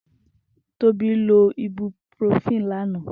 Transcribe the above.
Tobi lò ibúprófini lànã